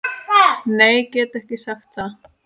Nei get ekki sagt það.